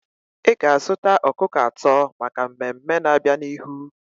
Ị ga-azụta ọkụkọ atọ maka mmemme na-abịa n'ihu.